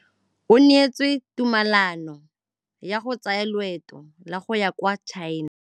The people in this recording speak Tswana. O neetswe tumalanô ya go tsaya loetô la go ya kwa China.